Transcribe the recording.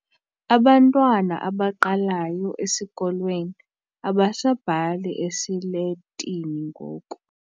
Abantwana abaqalayo esikolweni abasabhali esiletini ngoku.